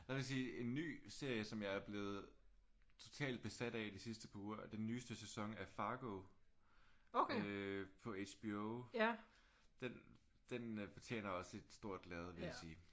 Der vil jeg sige en ny serie som jeg er blevet totalt besat af de sidste par uger er den nyeste sæson af Fargo øh på HBO. Den den fortjener også et stort lærred vil jeg sige